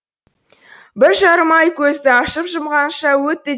бір жарым ай көзді ашып жұмғанша өтті